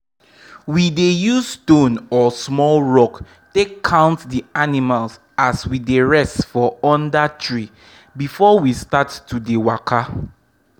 we dey use stone or small rock take count d animals as we dey rest for for under tree before we start to dey waka.